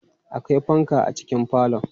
Akwai fanka a cikin falon.